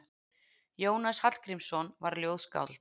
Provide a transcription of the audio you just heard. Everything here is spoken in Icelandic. Jónas Hallgrímsson var ljóðskáld.